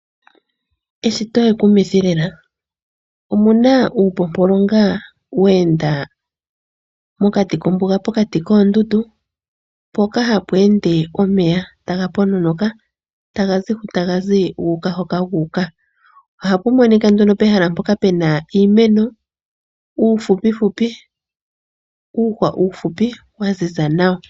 Eshito ekumithi lela. Omu na uupompolonga we enda mokati kombuga pokati koondundu, mpoka hapu ende omeya taga pononoka taga zi ho taga zi, gu uka hoka gu uka. Ohapu monika ndunopehala pu na iimeno uufupufupi uumeno uufupi wa ziza nawa.